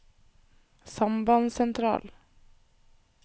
sambandssentral